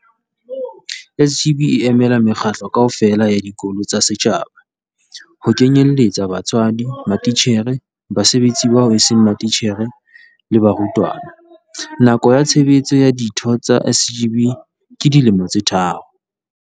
SGB e emela mekgatlo kaofela ya dikolo tsa setjhaba, ho kenyelletsa batswadi, matitjhere, basebetsi bao eseng matitjhere le barutwana. Nako ya tshebetso ya ditho tsa SGB ke dilemo tse tharo.